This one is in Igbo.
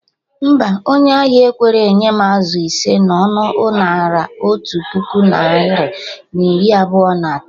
Mba, onye ahia ekwerọ enye m azụ ise na ọnụ Naira otu puku narị na iri abụọ na atọ